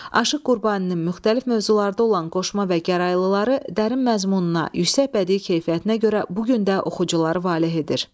Aşıq Qurbaninin müxtəlif mövzularda olan qoşma və gəraylıları dərin məzmununa, yüksək bədii keyfiyyətinə görə bu gün də oxucuları valeh edir.